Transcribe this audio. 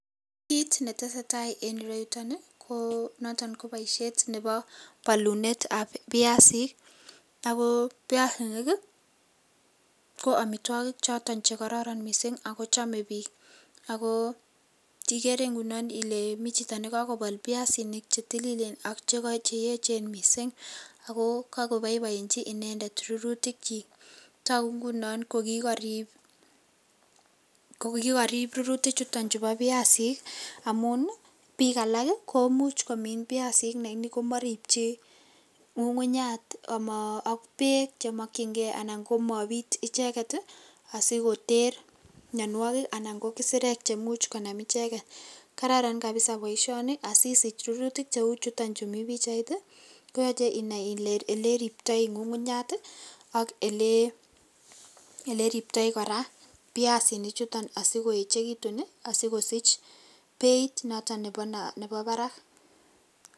Kit netesetai en ureyuto konoto koboisiet nebo balunetab piasinik ago piasinik ko amitwogik choton chekororon mising ago chome biik. Ago igere ngunon ile michito nekakobol piasinik che tililen ak cheechen mising ago kakoboiboenji inendet rurutiyik. Tagu ngunon ko kikarip rurutikchuto chebo piasik amun biik alak komuch komin piasik lakini komaripchi ngungunyat ak beek che mokyinge anan ko mopit icheget asikoter mianwogik anan ko kisirek chemuch konam icheget. Kararan kapisa boisioni asisich rurutik cheuchuton chu mi pichait, koyoche inai ile eleriptoi ngungunyat ak oleriptai kora piasinichuton asikoechekitun asikosich beit noto nebo barak.